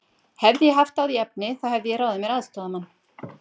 Hefði ég haft á því efni, þá hefði ég ráðið mér aðstoðarmann.